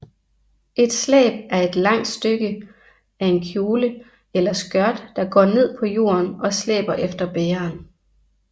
Et slæb er et langt stykke af en kjole eller skørt der går ned på jorden og slæber efter bæreren